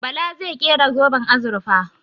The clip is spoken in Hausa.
Bala zai kera zoben azurfa.